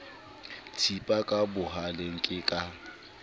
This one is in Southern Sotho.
thipa ka bohaleng ke ka